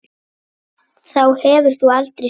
Þá hefur þú aldrei skilið.